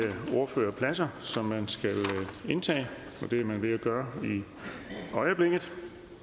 ordførerpladser som man skal indtage det er man ved at gøre i øjeblikket